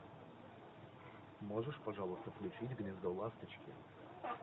можешь пожалуйста включить гнездо ласточки